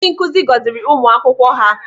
Ndị nkụzi gọziri ụmụ akwụkwọ ha.